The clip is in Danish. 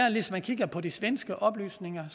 og hvis man kigger på de svenske oplysninger